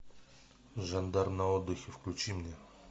жандарм на отдыхе включи мне